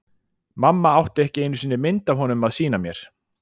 Mamma átti ekki einu sinni mynd af honum að sýna mér.